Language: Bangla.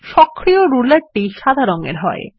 সক্রিয় রুলারটি সাদা রঙ এর হয়